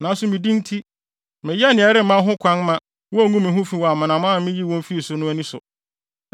Nanso me din nti, meyɛɛ nea ɛremma ho kwan ma wonngu me ho fi wɔ amanaman a miyii wɔn fii so no ani so.